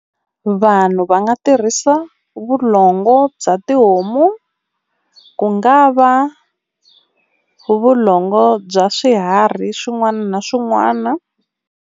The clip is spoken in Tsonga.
Vanhu va nga tirhisa vulongo bya tihomu, ku nga va vulongo bya swiharhi swin'wana na swin'wana.